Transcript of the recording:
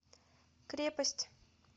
крепость